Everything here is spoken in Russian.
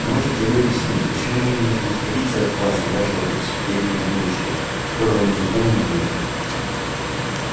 можете ли вы объяснить почему бы мне не освободиться от вас и вашего пятисотлетнего будущего которого я никогда не увижу